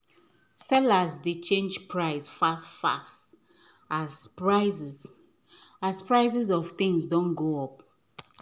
sellers dey change price fast fast as prices as prices of things doh go up